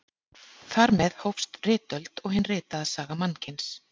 Þar með hófst ritöld og hin ritaða saga mannkyns.